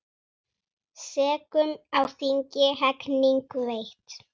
Sekum á þingi hegning veitt.